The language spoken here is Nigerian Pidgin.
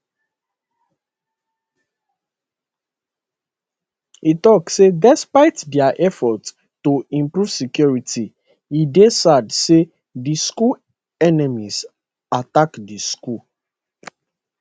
e tok say despite dia effort to improve security e dey sad say di school enemies attack di school